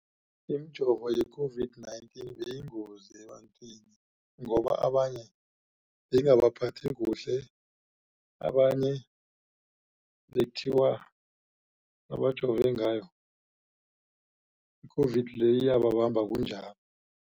Imijovo ye-COVID-19 beyiyingozi ebantwini ngoba abanye beyingabaphathi kuhle abanye. Abanye bekuthiwa abajove ngayo i-COVID le iyababamba kunjalo.